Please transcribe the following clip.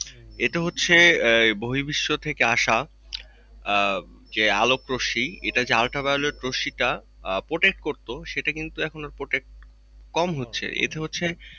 এইটা হচ্ছে আহ বহির্বিশ্ব থেকে আসা আহ যে আলোক রশ্মী এটা যে ultraviolet রশ্মী টা আহ protect করতো সেটা কিন্তু এখন আর protect কমহচ্ছে এটা হচ্ছে,